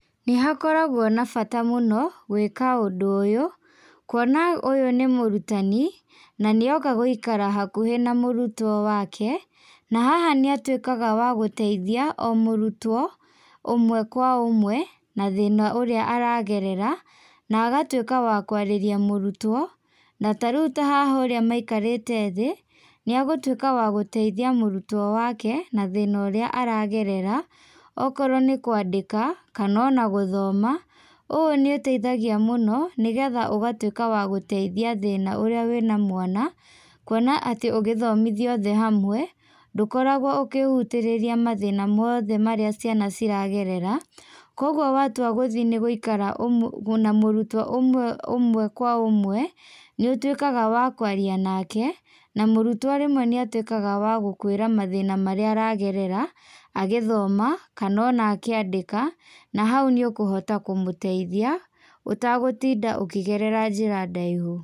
Nĩ hakoragwo na bata mũno gwĩka ũndũ ũyũ, kwona ũyũ nĩ mũrutani na nĩoka gũikara hakuhĩ na mũrutwo wake, na haha nĩ atuikaga wa gũteithia o mũrũtwo ũmwe kwa ũmwe, na thĩna ũrĩa aragerera, na agatuĩka wa kwarĩria mũrutwo, na ta rĩu ta haha ũrĩa maikarĩte thĩ nĩ agũtuĩka wa gũteithia mũrutwo wake na thĩna ũrĩa aragerera, okorwo nĩ kwandĩka kana ona gũthoma, ũũ nĩ ũteithagia mũno nĩgetha ũgatwĩka wa gũteithia thĩna ũrĩa wĩna mwana, kwona atĩ ũngĩthomithia othe hamwe, ndũkoragwo ũkĩhutĩrĩria mathĩna mothe marĩa ciana iragerera, kogwo watua gũthiĩ nĩ gũikara na mũrutwo ũmwe ũmwe kwa ũmwe, nĩ ũtuikaga wa kwaria nake, na mũrutwo rĩmwe nĩ atuĩkaga wa gũkũĩra mathĩna marĩa aragerera, agĩthoma kana akĩandĩka, na hau nĩ ũkũhota kũmũteithia, ũtagũtinda ũkĩgerera njĩra ndaihu.